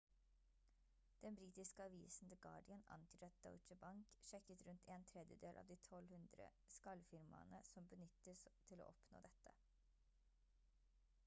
den britiske avisen the guardian antydet at deutsche bank sjekket rundt en tredjedel av de 1200 skall-firmaene som benyttes til å oppnå dette